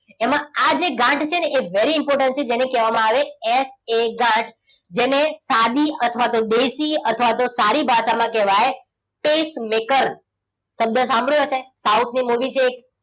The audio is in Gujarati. એમાં આજે ગાંઠ છે ને એ very important છે. જેને કહેવામાં આવે એસ એ ગાંઠ. જેને સાદી અથવા તો દેશી અથવા તો સારી ભાષામાં કહેવાય pacemaker શબ્દ સાંભળ્યો હશે. સાઉથની મુવી છે એક.